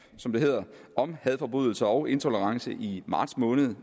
som det hedder om hadforbrydelser og intolerance i marts måned